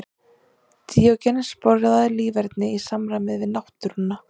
Díógenes boðaði líferni í samræmi við náttúruna.